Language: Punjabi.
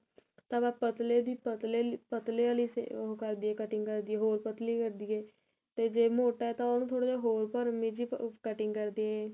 ਤਾਂ ਆਪਾਂ ਪਤਲੇ ਦੀ ਪਤਲੇ ਲਈ ਪਤਲੇ ਵਾਲੀ ਓਹ ਕਰ ਦਈਏ cutting ਕਰ ਦਈਏ ਹੋਰ ਪਤਲੀ ਕਰ ਦਈਏ ਤੇ ਜੇ ਮੋਟਾ ਤਾਂ ਉਹਨੂੰ ਥੋੜਾ ਜਾ ਹੋਰ ਭਰਵੀ ਜੀ cutting ਕਰ ਦਈਏ